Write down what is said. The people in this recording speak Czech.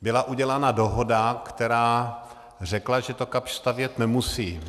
Byla udělána dohoda, která řekla, že to Kapsch stavět nemusí.